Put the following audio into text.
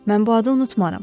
Mən bu adı unutmaram.